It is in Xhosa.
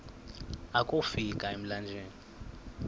akofi ka emlanjeni